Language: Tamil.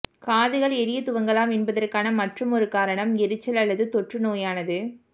காதுகள் எரியத் துவங்கலாம் என்பதற்கான மற்றொரு காரணம் எரிச்சல் அல்லது தொற்றுநோயானது